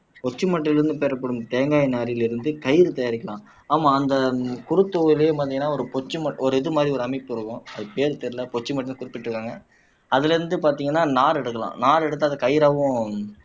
கொச்சி மட்டையிலிருந்து பெறப்படும் தேங்காய் நாரிலிருந்து கயிறு தயாரிக்கலாம் ஆமா அந்த குறுத்தொகையிலேயே பாத்தீங்கன்னா ஒரு இது மாதிரி ஒரு அமைப்பு இருக்கும் அது பேர் தெரியலே கொச்சி மட்டை குறிப்பிட்டு இருக்காங்க அதிலிருந்து பார்த்தீங்கன்னா நார் எடுக்கலாம் நார் எடுத்து அதை கயிறாவும்